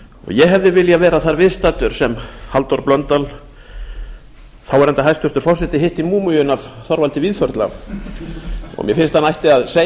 ég hefði viljað vera þar viðstaddur sem halldór blöndal þáv hæstvirtur forseti hitti múmíuna af þorvaldi víðförla og mér finnst að hann ætti að segja